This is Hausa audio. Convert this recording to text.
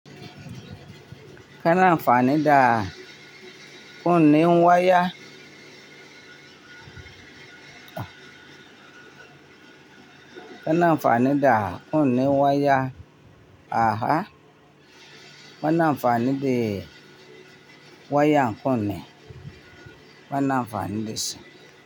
Kana amfani da kunne waya, kana amfani da kunne waya aha, kana amfani da wayan kunne, bana amfani da shi.